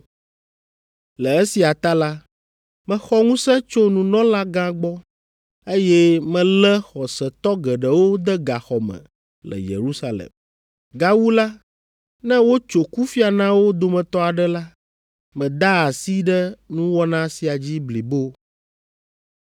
Le esia ta la, mexɔ ŋusẽ tso nunɔlagã gbɔ, eye melé xɔsetɔ geɖewo de gaxɔ me le Yerusalem. Gawu la, ne wotso kufia na wo dometɔ aɖe la, medaa asi ɖe nuwɔna sia dzi blibo.